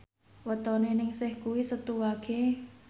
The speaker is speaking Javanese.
wetone Ningsih kuwi Setu Wage